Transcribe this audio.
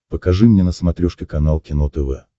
покажи мне на смотрешке канал кино тв